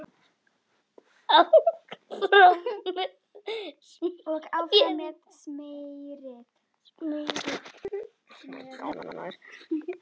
Og áfram með smérið.